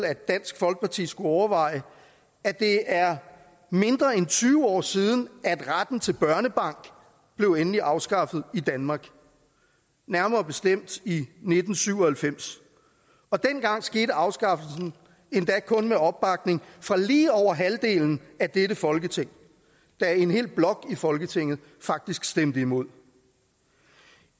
at dansk folkeparti skulle overveje at det er mindre end tyve år siden at retten til børnebank blev endeligt afskaffet i danmark nærmere bestemt i nitten syv og halvfems og dengang skete afskaffelsen endda kun med opbakning fra lige over halvdelen af dette folketing da en hel blok i folketinget faktisk stemte imod